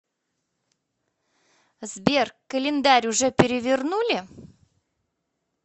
сбер календарь уже перевернули